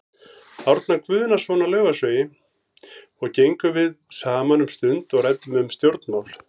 Árna Guðnason á Laufásvegi og gengum við saman um stund og ræddum um stjórnmál.